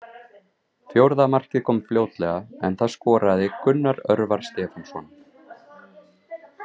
Fjórða markið kom fljótlega en það skoraði Gunnar Örvar Stefánsson.